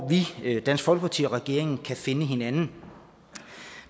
vi dansk folkeparti og regeringen kan finde hinanden